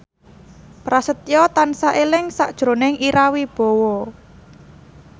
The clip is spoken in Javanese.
Prasetyo tansah eling sakjroning Ira Wibowo